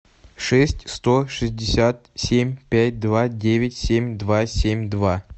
шесть сто шестьдесят семь пять два девять семь два семь два